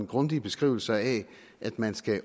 grundige beskrivelser af at man skal